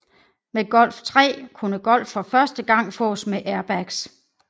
Med Golf III kunne Golf for første gang fås med airbags